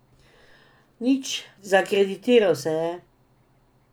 Nič, zakreditiral se je.